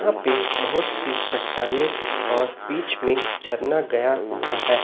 यहां पे बहोत सी चट्टाने और बीच में झरना गया हुआ है।